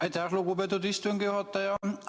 Aitäh, lugupeetud istungi juhataja!